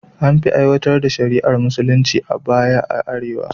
An fi aiwatar da shari’ar musulunci a baya a arewa